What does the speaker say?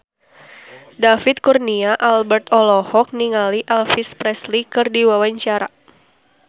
David Kurnia Albert olohok ningali Elvis Presley keur diwawancara